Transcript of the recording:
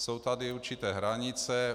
Jsou tady určité hranice.